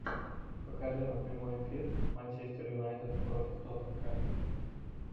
покажи нам прямой эфир манчестер юнайтед против тоттенхэм